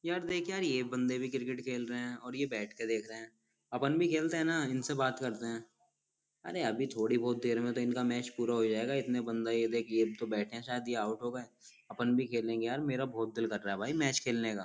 यार देख यार ये बन्दे भी क्रिकेट खेल रहे है और ये बैठ कर देख रहे है। आपन भी खेलते है ना इनसे बात करते है अरे अभी थोड़ी बहुत देर में इनका मैच पूरा हो जाएगा इतने बन्दा है ये देख एक दो बेठे है शायद ये आउट हो गये। अपुन भी खेलेंगे यार मेरा बहुत दिल कर रहा भाई मैच खेलने का।